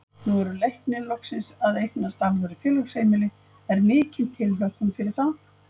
Nú eru Leiknir loksins að eignast alvöru félagsheimili, er mikil tilhlökkun fyrir það?